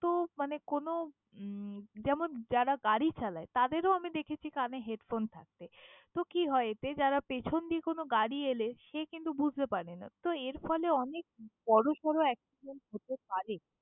তো মানে কোনো উম যেমন যারা গাড়ি চালায়, তাদেরও আমি দেখেছি কানে headphone থাকতে। তো কি হয় এতে যারা পেছন দিয়ে কোনো গাড়ি এলে, সে কিন্তু বুঝতে পারে না। তো এরফলে অনেক accident বড়সড় হতে পারে।